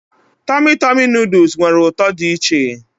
Tọmị Tọmị nuduls nwere ụtọ dị iche.